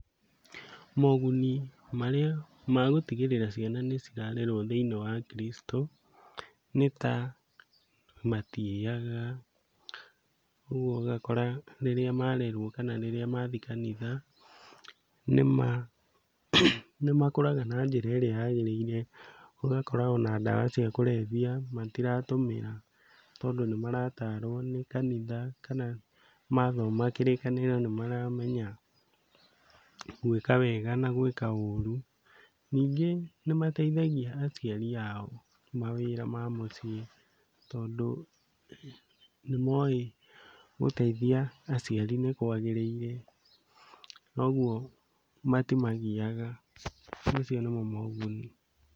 Moguni marĩa magũtigĩrĩra ciana nĩciarerwo thĩiniĩ wa Kristo nĩ ta matiyaga, ũguo ũgakora rĩrĩa marerwo kana rĩrĩa mathiĩ kanitha nĩmakũraga na njĩra ĩrĩa yagĩrĩire, ũgakora ona ndawa cia kũrebia matiratũmĩra tondũ nĩmarataarwo nĩ kanitha kana mathoma kĩrĩkanĩro nĩmaramenya gwĩka wega na gwĩka ũru. Ningĩ nĩmateithagia aciari ao mawĩra ma mũciĩ, tondũ nĩmoĩ gũteithia aciari nĩkwagĩrĩire ũguo matimagiyaga, macio nĩmo moguni.